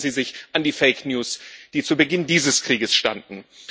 Vielleicht erinnern Sie sich an die Fake News, die zu Beginn dieses Krieges standen.